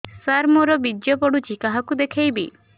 ସାର ମୋର ବୀର୍ଯ୍ୟ ପଢ଼ୁଛି କାହାକୁ ଦେଖେଇବି